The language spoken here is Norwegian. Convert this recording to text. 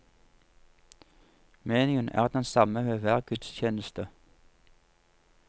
Menyen er den samme ved hver gudstjeneste.